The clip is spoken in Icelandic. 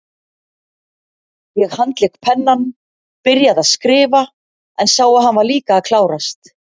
Ég handlék pennann, byrjaði að skrifa, en sá að hann var líka að klárast.